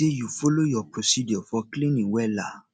say yu follow yur procedure for cleaning wella